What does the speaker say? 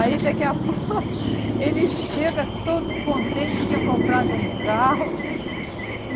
Aí daqui a pouco ele chega todo contente tinha comprado um carro.